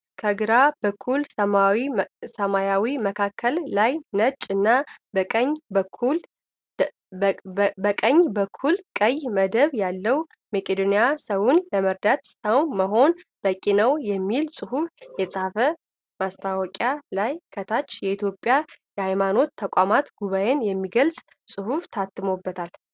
ከግራ በኩል ሰማያዊ መካከል ላይ ነጭ እና በቀኝ በኩል ቀይ መደብ ያለዉ " መቄዶንያ ሰዉን ለመርዳት ሰዉ መሆን በቂ ነዉ!" የሚል ፅሁፍ የተፃበት ማስታወቂያ ላይ ከታች የኢትዮጵያ የሀይማኖት ተቋማት ጉባኤ የሚገልፅ ፅሁፍ ታትሞበታል።